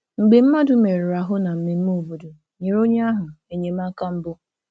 Mgbe mmadụ merụrụ ahụ na mmemme obodo, nyere onye ahụ enyemaka mbụ.